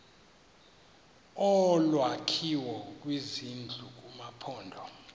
olwakhiwo lwezindlu kumaphondo